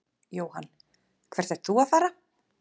Jóhann: Hvert ert þú að fara?